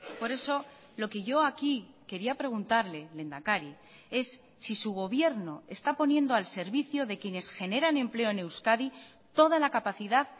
por eso lo que yo aquí quería preguntarle lehendakari es si su gobierno está poniendo al servicio de quienes generan empleo en euskadi toda la capacidad